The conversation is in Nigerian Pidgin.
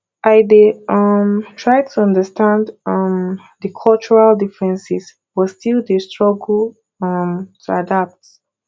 i dey um try to understand um di cultural differences but still dey struggle um to adapt